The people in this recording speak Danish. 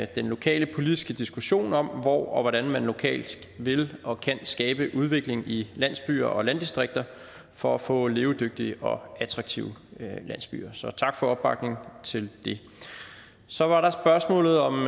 den lokale politiske diskussion om hvor og hvordan man lokalt vil og kan skabe udvikling i landsbyer og landdistrikter for at få levedygtige og attraktive landsbyer så tak for opbakningen til det så var der spørgsmålet om